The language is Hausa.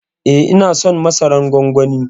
Eh ina son masaran gwangwani.